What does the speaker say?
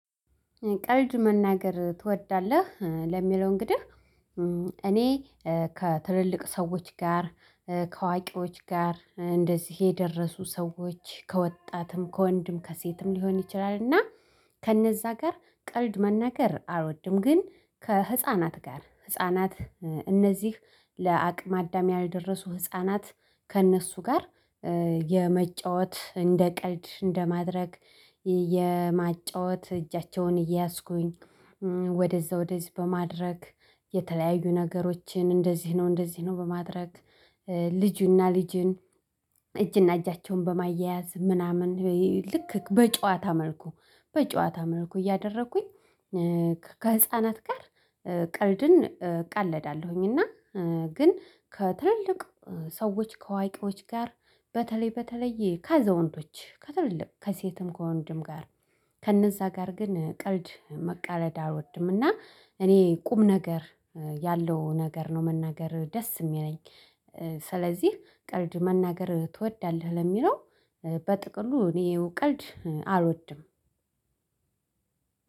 ቀልድ መናገር ትወዳለህ? ለሚለው እንግዲህ እኔ ከትልልቅ ሰዎች ጋር ከዋቂዎች ጋር እንደዚህ የደረሱ ሰዎች ከወጣትም ከወንድም ከሴትም ሊሆን ይችላል። እና ከነዛ ጋር ቀልድ መናገር አልወድም። ግን ከህፃናት ጋር ህፃናት እነዚህ ለአቅመ አዳም ያልደረሱ ህፃናት ከእነሱ ጋር የመጫወት እንደ ቀልድ እንደማድረግ የማጫወት እጃቸውን እየያዝኩኝ ወደዛ ወደዚህ በማድረግ የተለያዩ ነገሮችን እንደዚህ ነው እንደዚህ ነው በማድረግ ልጁና ልጁን እጅና እጃቸውን በማያያዝ ምናምን ልክ በጨዋታ መልኩ በጨዋታ መልኩ እያደረኩኝ ከህፃናት ጋር ቀልድን እቃለዳለሁኝ። እና ግን ከትልልቅ ሰዎች ከአዋቄዎች ጋር በተለይ በተለይ ከአዛውንቶች ከትልልቅ ከሴትም ከወንድም ጋር ከእነዛ ጋር ግን ቀልድ መቀለድ አልወድምና። እኔ ቁም ነገር ያለው ነገር ነው መናገር ደስ እሚለኝ። ስለዚህ ቀልድ መናገር ትወዳለህ? ለሚለው በጥቅሉ እኔ ያው ቀልድ አልወድም።